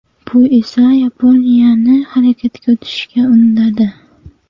Bu esa Yaponiyani harakatga o‘tishga undadi.